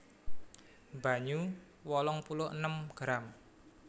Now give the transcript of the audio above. Banyu wolung puluh enem gram